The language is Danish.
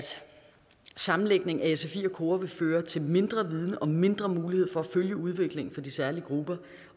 sammenlægningen af sfi og kora vil føre til mindre viden og mindre mulighed for at følge udviklingen for de særlige grupper